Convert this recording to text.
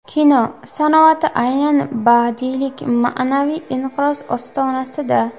Kino san’ati aynan badiiylik, ma’naviy inqiroz ostonasida.